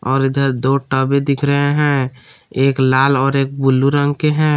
और इधर दो टबे दिख रहे हैं एक लाल और एक बुलु रंग के हैं।